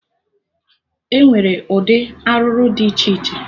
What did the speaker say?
Enwere ụdị arụrụ dị iche iche